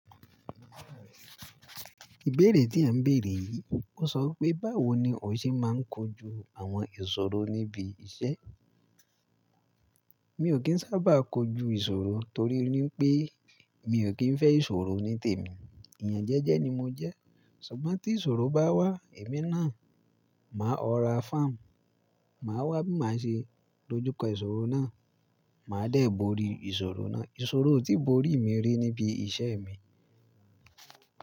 Ìbéèrè tí à ń bèèrè yìí, ó sọ pé, báwo ni o ṣe máa ń kojú àwọn ìṣòro níbi iṣẹ́? Mi ò kí ń sábà kojú ìṣòro torí pé mi ò kí ń fẹ́ ìṣòro ní tèmi. Èèyàn jẹ́jẹ́ ni mo jẹ́. Ṣùgbọ́n tí ìṣòro bá wá èmi náà, màá ọ̀rá fám, màá wá bí màá ṣe dojúkọ ìṣòro náà, màá dẹ̀ bori ìṣòro náà. Ìṣòro ò tíì borí mi rí níbi iṣẹ́ mi.